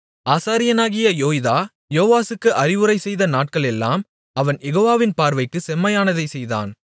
ஆசாரியனாகிய யோய்தா யோவாசுக்கு அறிவுரைசெய்த நாட்களெல்லாம் அவன் யெகோவாவின் பார்வைக்குச் செம்மையானதைச் செய்தான்